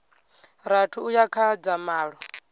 rathi uya kha dza malo